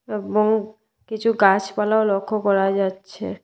এবং কিছু গাছপালাও লক্ষ করা যাচ্ছে।